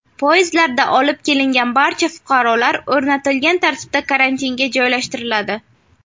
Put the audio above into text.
Poyezdlarda olib kelingan barcha fuqarolar o‘rnatilgan tartibda karantinga joylashtiriladi.